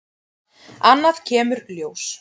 Annað kemur ljós